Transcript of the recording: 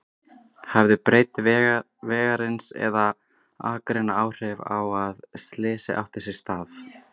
Hafði breidd vegarins eða akreinanna áhrif á að slysið átti sér stað?